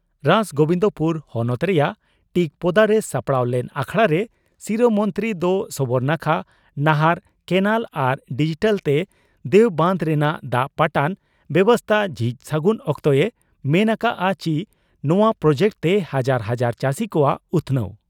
ᱨᱟᱥᱜᱚᱵᱤᱱᱫᱽᱯᱩᱨ ᱦᱚᱱᱚᱛ ᱨᱮᱱᱟᱜ ᱴᱤᱠᱯᱚᱫᱟᱨᱮ ᱥᱟᱯᱲᱟᱣ ᱞᱮᱱ ᱟᱠᱷᱲᱟᱨᱮ ᱥᱤᱨᱟᱹ ᱢᱚᱱᱛᱨᱤ ᱫᱚ ᱥᱚᱵᱚᱨᱱᱟᱠᱷᱟ ᱱᱟᱦᱟᱨ (ᱠᱮᱱᱟᱞ) ᱟᱨ ᱰᱤᱡᱤᱴᱟᱞᱛᱮ ᱫᱮᱣ ᱵᱟᱸᱫᱽ ᱨᱮᱱᱟᱜ ᱫᱟᱜ ᱯᱟᱴᱟᱱ ᱵᱮᱵᱚᱥᱛᱟ ᱡᱷᱤᱡ ᱥᱟᱹᱜᱩᱱ ᱚᱠᱛᱮᱭ ᱢᱮᱱ ᱟᱠᱟᱫᱼᱟ ᱪᱤ ᱱᱚᱣᱟ ᱯᱨᱚᱡᱮᱠᱴ ᱛᱮ ᱦᱟᱡᱟᱨ ᱦᱟᱡᱟᱨ ᱪᱟᱹᱥᱤ ᱠᱚᱣᱟᱜ ᱩᱛᱷᱱᱟᱹᱣ ᱾